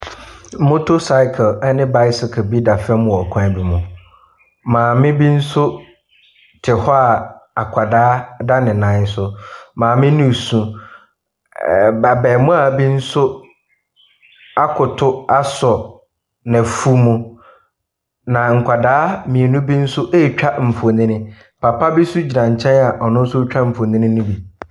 Motorcycle ne bicycle bi da fam wɔ kwan bi mu. Maame bi nso te hɔ a akwadaa da ne nan so. Maame no re su. Ɛɛ b abarimaa bi nso akoto asɔ n'afu mu, na nkwadaa mmienu bi nso retwa mfonin. Papa bi nso gyina nkyɛn a ɔno nso retwa mfonin no bi.